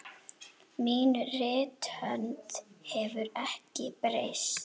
Mín rithönd hefur ekki breyst.